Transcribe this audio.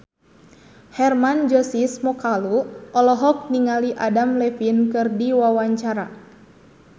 Hermann Josis Mokalu olohok ningali Adam Levine keur diwawancara